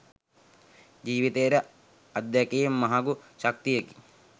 ජීවිතයට අත්දැකීම් මහඟු ශක්තියකි.